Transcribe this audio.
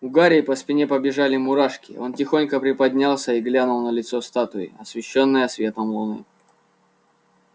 у гарри по спине побежали мурашки он тихонько приподнялся и глянул на лицо статуи освещённое светом луны